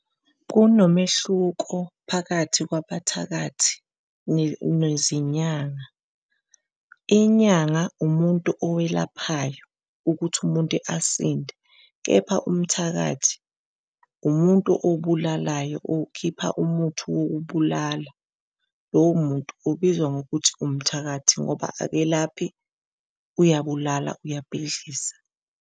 Kunomehluko phakathi kwabathakathi nezinyanga. Inyanga umuntu owelaphaya ukuthi umuntu asinde, kepha umthakathi umuntu obulalayo okhipha, umuthi wokubulala. Lowo muntu ubizwa ngokuthi umthakathi, ngoba akelaphi uyabulala uyabhidliza.